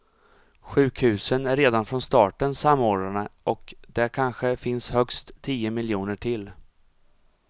Sjukhusen är redan från starten samordnade och det kanske finns högst tio miljoner till.